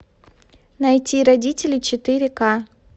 найти родители четыре ка